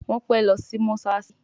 Wón pè ló sì mosalasi.